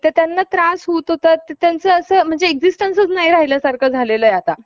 खुद्द पेशवेच त्यांचे आग्रहक होते. या दोघा भावांनी मुरुडला बरीच जमीन खरेदी केली. एका प्रशस्त प्र~ प्रशस्त वाडा बांधला.